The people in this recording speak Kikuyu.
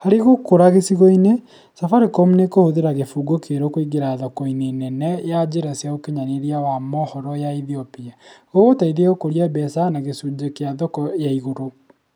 Harĩ gũkũra gĩcigo-inĩ, Safaricom nĩ kũhũthĩra kĩbungo kĩerũ kũingĩra thoko-inĩ nene ya njĩra cia ũkinyanĩria wa mohoro ya Ethiopia. Gũgũteithia gũkũria mbeca na gĩcunjĩ gĩa thoko na igũrũ.